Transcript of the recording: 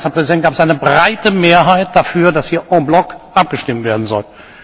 In der Konferenz der Präsidenten gab es eine breite Mehrheit dafür, dass hier abgestimmt werden soll.